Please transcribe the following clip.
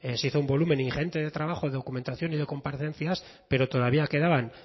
se hizo un volumen ingente de trabajo de documentación y de comparecencias pero todavía quedaban